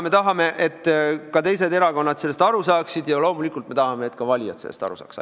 Me tahame, et ka teised erakonnad sellest aru saaksid, ja loomulikult me tahame, et ka valijad sellest aru saaksid.